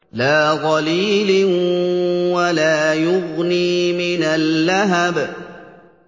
لَّا ظَلِيلٍ وَلَا يُغْنِي مِنَ اللَّهَبِ